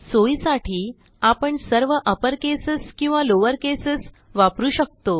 सोयीसाठी आपण सर्व अपर केसेस किंवा लॉवर केसेस वापरू शकतो